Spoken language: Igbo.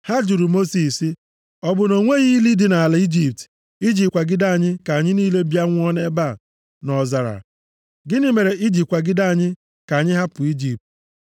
Ha jụrụ Mosis sị, “Ọ bụ na o nweghị ili dị nʼala Ijipt, i ji kwagide anyị ka anyị niile bịa nwụọ nʼebe a nʼọzara? Gịnị mere i ji kwagide anyị ka anyị hapụ Ijipt?